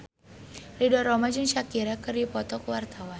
Ridho Roma jeung Shakira keur dipoto ku wartawan